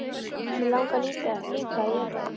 Mig langar líka að éta þig.